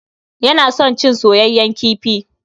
Yana son cin soyeyyen kifi.